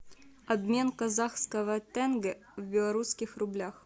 обмен казахского тенге в белорусских рублях